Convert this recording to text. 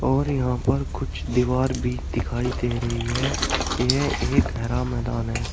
और यहाँ पर कुछ दीवार भी दिखाई दे रही है यह एक हरा मैदान है।